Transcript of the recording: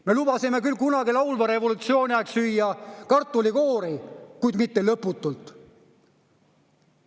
Me lubasime küll kunagi laulva revolutsiooni aeg süüa kartulikoori, kuid mitte lõputult.